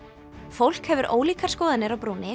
fólk hefur ólíkar skoðanir á brúni